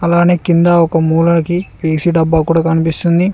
అలానే కింద ఒక మూలనకి ఏసి డబ్బా కూడా కనిపిస్తుంది.